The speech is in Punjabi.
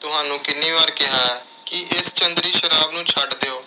ਤੁਹਾਨੂੰ ਕਿੰਨੀ ਵਾਰ ਕਿਹਾ ਕਿ ਇਸ ਚੰਦਰੀ ਸ਼ਰਾਬ ਨੂੰ ਛੱਡ ਦਿਓ